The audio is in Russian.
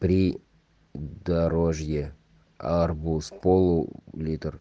при дорожье арбуз полу литр